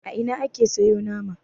a Ina ake siyo nama